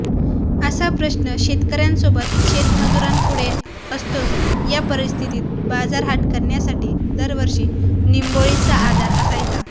असा प्रश्न शेतकऱ्यासोबत शेतमजुरांपुढे असतोच अशा परिस्थितीत बाजारहाट करण्यासाठी दरवर्षी निंबोळीचा आधार असायचा